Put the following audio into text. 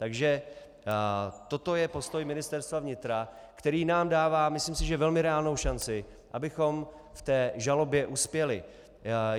Takže toto je postoj Ministerstva vnitra, který nám dává, myslím si, že velmi reálnou šanci, abychom v té žalobě uspěli.